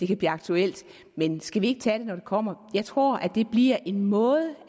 kan blive aktuelt men skal vi ikke tage det når det kommer jeg tror det bliver en måde